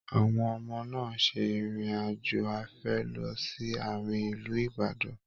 Àwọn ọmọ náà se irin-ajo afẹ̀ lọ sí Àárín ilú Ìbàdàn.